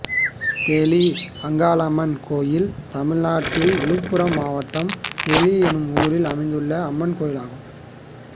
தெளி அங்காளம்மன் கோயில் தமிழ்நாட்டில் விழுப்புரம் மாவட்டம் தெளி என்னும் ஊரில் அமைந்துள்ள அம்மன் கோயிலாகும்